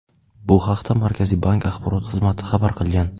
Bu haqda Markaziy bank axborot xizmati xabar qilgan .